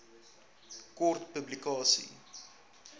kort publikasie